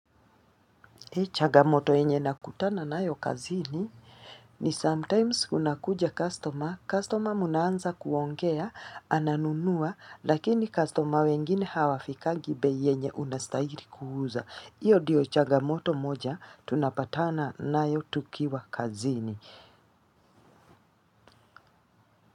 Changamoto yenye nakutana nayo kazini ni sometimes unakuja customer, customer mnaanza kuongea, ananunua, lakini customer wengine hawafikangi bei yenye unastahili kuuza. Hiyo ndiyo changamoto moja, tunapatana nayo tukiwa kazini.